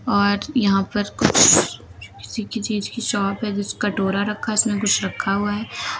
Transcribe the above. और यहां पर किसी चीज की शॉप है कटोरा रखा है उसमें कुछ रखा हुआ है।